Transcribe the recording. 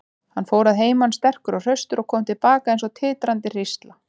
Hann fór að heiman sterkur og hraustur og kom til baka eins og titrandi hrísla.